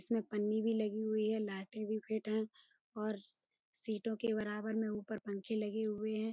इसमें पन्नी भी लगी हुई है लाइटें भी फिट है और सी सीटों के बराबर में ऊपर पंखे भी लगे हुए हैं।